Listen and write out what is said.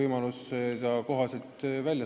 Mart Helme.